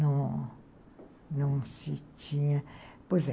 Não, não se tinha... Pois é.